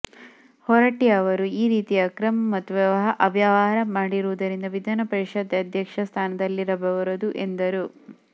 ಹೊರಟ್ಟಿ ಅವರು ಈ ರೀತಿ ಅಕ್ರಮ ಹಾಗೂ ಅವ್ಯವಹಾರ ಮಾಡಿರುವುದರಿಂದ ವಿಧಾನ ಪರಿಷತ್ ಅಧ್ಯಕ್ಷ ಸ್ಥಾನದಲ್ಲಿರಬಾರದು ಎಂದರು